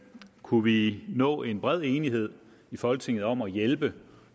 kunne vi nå en bred enighed i folketinget om at hjælpe